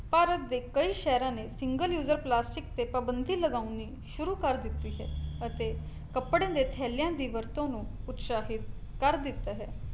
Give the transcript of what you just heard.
ਭਾਰਤ ਦੇ ਕਈ ਸ਼ਹਿਰਾਂ ਨੇ single user ਪਲਾਸਟਿਕ ਤੇ ਪਾਬੰਦੀ ਲਗਾਉਣੀ ਸ਼ੁਰੂ ਕਰ ਦਿੱਤੀ ਹੈ ਈ ਅਤੇ ਕਪੜੇ ਦੇ ਥੈਲਿਆਂ ਦੀ ਵਰਤੋਂ ਨੂੰ ਉਤਸ਼ਾਹਿਤ ਕਰ ਦਿੱਤਾ ਹੈ